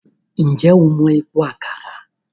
Ǹjẹ́ o mọ Epo Àkàrà?